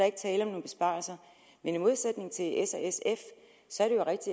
ikke tale om nogen besparelser men i modsætning til s